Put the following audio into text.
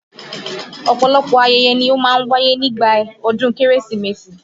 Ọ̀pọ̀lọpọ̀ ayẹyẹ ni ó máa ń wáyé ni ìgbà ọdún Kérésìmesì